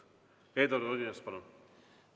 Eduard Odinets, palun!